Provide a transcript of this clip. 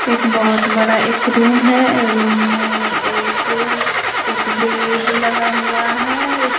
एक बहोत बड़ा एक रूम है रूम में एक एक बेड लगा हुआ है।